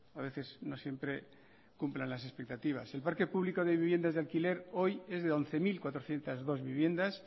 a veces no siempre cumplan las expectativas el parque público de viviendas de alquiler hoy es de once mil cuatrocientos dos viviendas